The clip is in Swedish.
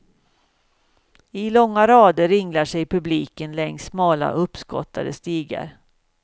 I långa rader ringlar sig publiken längs smala uppskottade stigar.